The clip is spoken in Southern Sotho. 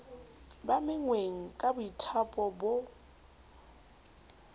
ba menngweng ka boithaopo ho